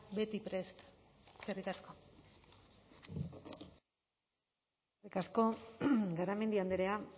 beti prest eskerrik asko eskerrik asko garamendi andrea